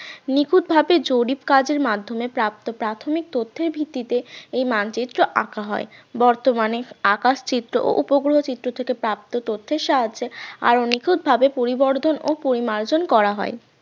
নিখুঁতভাবে জরিপ কাজের মাধ্যমে প্রাপ্ত প্রাথমিক তথ্যের ভিত্তিতে এই মানচিত্র আঁকা হয় বর্তমানে আকাশ চিত্র ও উপগ্রহ চিত্র থেকে প্রাপ্ত তথ্যের সাহায্যে . ভাবে পরিবর্ধন ও পরিমার্জন করা হয়